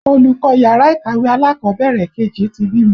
Olùkọ́ yàrá ìkàwé alákọ̀bẹ̀rẹ̀ kejì ti bímọ